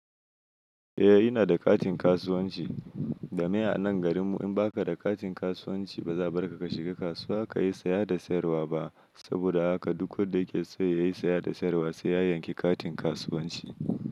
Eh ina da katin kasuwanci, domin a nan garin mu in baka da katin kasuwanci ba za a bar ka ka shiga kasuwa kayi saya da sayarwa ba. Saboda haka duk wanda yake so ya yi saya da sayarwa sai ya yanki katin kasuwanci.